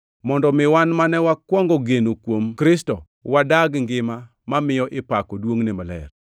mondo mi wan mane wakwongo geno kuom Kristo, wadag ngima mamiyo ipako duongʼne maler.